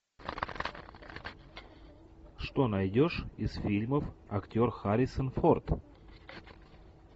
что найдешь из фильмов актер харрисон форд